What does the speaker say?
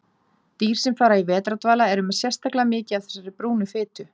Dýr sem fara í vetrardvala eru með sérstaklega mikið af þessari brúnu fitu.